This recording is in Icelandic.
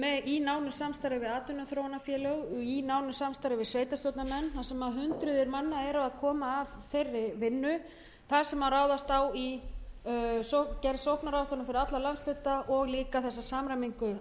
í nánu samstarfi við atvinnuþróunarfélög í nánu samstarfi við sveitarstjórnarmenn þar sem hundruð manna eru að koma að þeirri vinnu þar sem ráðast á í gerð sóknaráætlunar fyrir alla landshluta og líka þessa samræmingu